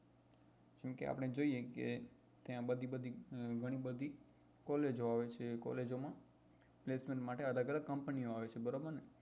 જેમ કે આપડે જોઈએ કે ત્યાં બધી બધી ગણી બધી collage ઓ આવે છે collage ઓ માં માટે અલગ અલગ company ઓ આવે છે બરોબર ને